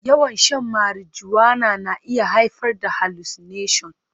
Yawan shan marijuana na iya haifar da hallucination